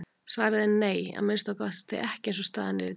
Svarið er nei, að minnsta kosti ekki eins og staðan er í dag.